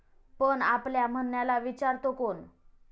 पण आपल्या म्हणण्याला विचारतो कोण?